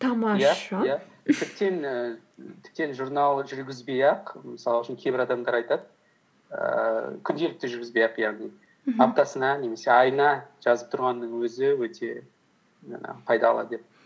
і тіптен журнал жүргізбей ақ мысал үшін кейбір адамдар айтады ііі күнделікті жүргізбей ақ яғни мхм аптасына немесе айына жазып тұрғанның өзі өте жаңағы пайдалы деп